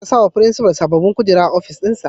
Za a sawa firinsifal sababbin kujeru a ofis dinsa.